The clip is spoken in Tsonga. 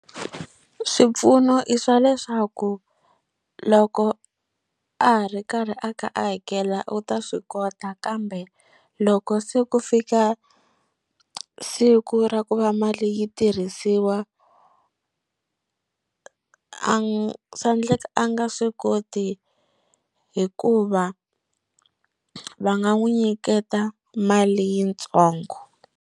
Swipfuno i swa leswaku loko a ha ri karhi a ka a hakela u ta swi kota kambe loko se ku fika siku ra ku va mali yi tirhisiwa a swa endleka a nga swi koti hikuva va nga n'wi nyiketa mali yitsongo.